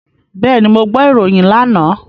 Bẹ́ẹ̀ni, mo gbọ́ ìròyìn lánàá.